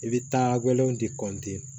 I bɛ taa wɛlɛw tɛ